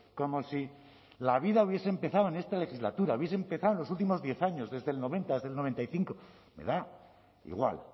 como si la vida hubiese empezado en esta legislatura hubiese empezado en los últimos diez años desde el noventa del noventa y cinco me da igual